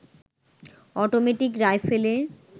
automatic রাইফেলে